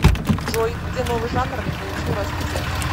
джой где новый жанр не получил развития